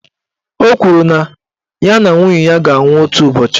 Ọ kwụrụ na ya na nwunye ya ga-anwụ otu ụbọchị.